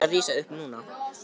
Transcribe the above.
Hann er að rísa upp núna.